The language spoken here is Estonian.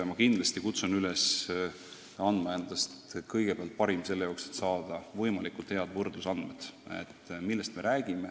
Ma kutsun kõiki üles andma endast kõigepealt parim, et saada võimalikult head võrdlusandmed selle kohta, millest me räägime.